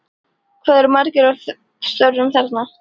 Hvað eru margir að störfum þarna?